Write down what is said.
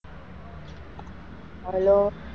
Hello